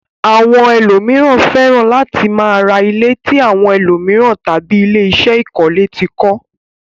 Àwọn ẹlòmíràn fẹ́ràn láti máa ra ilé tí àwọn ẹlòmíràn tàbí ilé-iṣé ìkọ́lẹ́ ti kọ́.